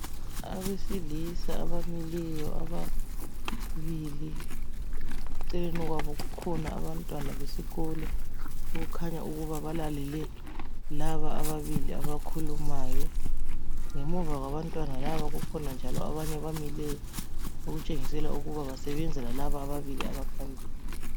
Abesilisa abamileyo ababili eceleni kwabo kukhona Abantwana besikolo okukhanya ukuba balalele laba ababili abakhulumayo , ngemuva kwabantwana laba kukhona njalo abanye abamileyo , okutshengisela ukuthi basebenza lalaba abaphambili